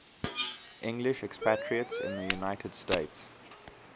english expatriates in the united states